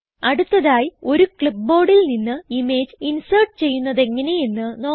അടുത്തതായി ഒരു clipboardൽ നിന്ന് ഇമേജ് ഇൻസേർട്ട് ചെയ്യുന്നതെങ്ങനെ എന്ന് നോക്കാം